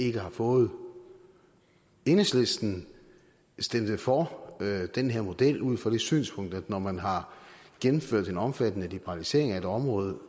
ikke har fået enhedslisten stemte for den her model ud fra det synspunkt at når man har gennemført en omfattende liberalisering af et område